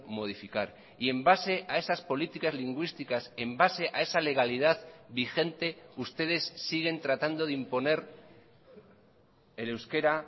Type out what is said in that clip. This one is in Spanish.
modificar y en base a esas políticas lingüísticas en base a esa legalidad vigente ustedes siguen tratando de imponer el euskera